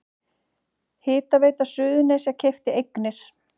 Hitaveita Suðurnesja keypti eignir